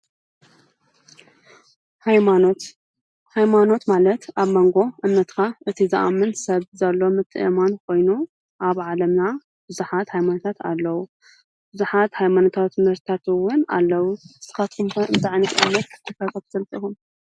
ሃይማኖት ፦ ሃይማኖት ማለት ኣብ ሞንጎ እምነትካ እቱይ ዝኣምን ሰብ ዘሎ ምትእምማን ኮይኑ ኣብ ዓለምና ብዙሓት ሃይማኖታት ኣለው። ብዙሓት ሃይማኖታት ትምህርትታት እውን አለው። ንስኻትኩም ከ እንታይ ዓይነት ሃይማኖት ተኸተልቲ ኢኹም?